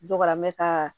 Dɔgɔya mɛ ka